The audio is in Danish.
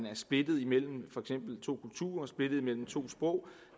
er splittet mellem to kulturer splittet mellem to sprog